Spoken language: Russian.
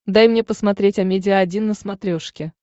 дай мне посмотреть амедиа один на смотрешке